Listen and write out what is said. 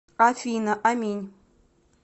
афина аминь